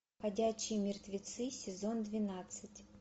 ходячие мертвецы сезон двенадцать